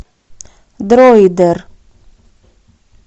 дроидер